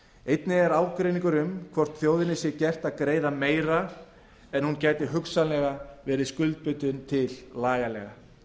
einnig er ágreiningur um hvort þjóðinni sé gert að greiða meira en hún gæti hugsanlega verið skuldbundin til lagalega